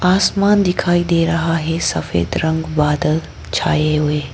आसमान दिखाई दे रहा है सफेद रंग बादल छाए हुए--